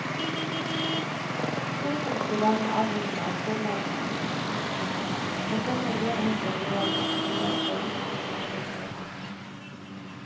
Skolefolk blir dermed avhengige av forlagenes informasjonsmøter, og savner uavhengige vurderinger som grunnlag før innkjøpsbeslutninger fattes.